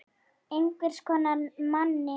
En hvers konar manni?